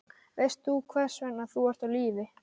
Veist þú hvers vegna þú ert á lífi?